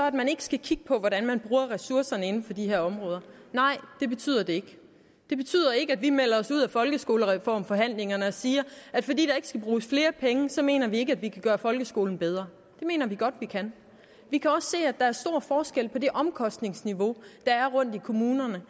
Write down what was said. at man ikke skal kigge på hvordan man bruger ressourcerne inden for de her områder nej det betyder det ikke det betyder ikke at vi melder os ud af folkeskolereformforhandlingerne og siger at fordi der ikke skal bruges flere penge så mener vi ikke at vi kan gøre folkeskolen bedre det mener vi godt vi kan vi kan også se at der er stor forskel på det omkostningsniveau der er rundt i kommunerne